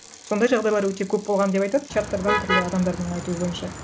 сондай жағдайлар өте көп болған деп айтады чаттардан түрлі адамдардың айтуы бойынша